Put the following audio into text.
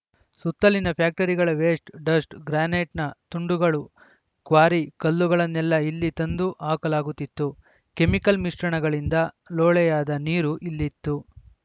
ಸುತ್ತ ಲಿನ ಫ್ಯಾಕ್ಟರಿಗಳ ವೇಸ್ಟ್‌ ಡಸ್ಟ್‌ ಗ್ರಾನೈಟ್‌ನ ತುಂಡುಗಳು ಕ್ವಾರಿ ಕಲ್ಲುಗಳನ್ನೆಲ್ಲಾ ಇಲ್ಲಿ ತಂದು ಹಾಕಲಾಗುತ್ತಿತ್ತು ಕೆಮಿಲ್‌ ಮಿಶ್ರಣಗಳಿಂದ ಲೋಳೆಯಾದ ನೀರು ಇಲ್ಲಿತ್ತು